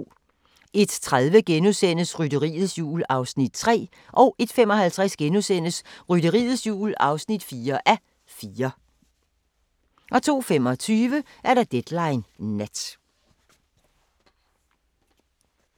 01:30: Rytteriets Jul (3:4)* 01:55: Rytteriets Jul (4:4)* 02:25: Deadline Nat